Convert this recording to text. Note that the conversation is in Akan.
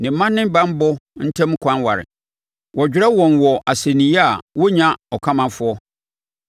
Ne mma ne banbɔ ntam ɛkwan ware, wɔdwerɛ wɔn wɔ asɛnniiɛ a wɔnnya ɔkamafoɔ.